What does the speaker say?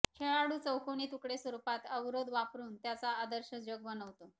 खेळाडू चौकोनी तुकडे स्वरूपात अवरोध वापरून त्याच्या आदर्श जग बनवतो